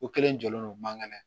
O kelen jɔlen don mankɛnɛ